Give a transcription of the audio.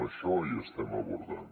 això ho estem abordant